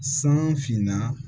San finna